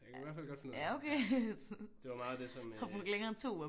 Jeg kan i hvert fald godt finde ud af det ja det var meget det som øh